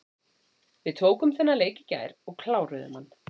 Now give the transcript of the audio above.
Við tókum þennan leik í gær og kláruðum hann.